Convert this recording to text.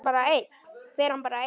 Fer hann bara einn?